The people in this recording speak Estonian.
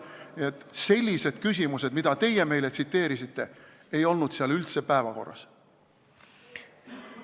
Nii et sellised küsimused, mida teie meile tsiteerisite, ei olnud seal üldse päevakorral.